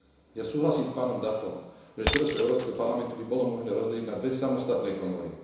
Ja súhlasím s pánom Duffom, že teleso Európskeho parlamentu by bolo možné rozdeliť na dve samostatné komory.